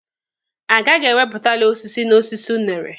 A gaghị ewepụtali osisi na osisi unere.